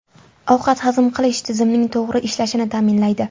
Ovqat hazm qilish tizimining to‘g‘ri ishlashini ta’minlaydi.